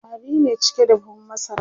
ƙwari ne cike da buhun masaran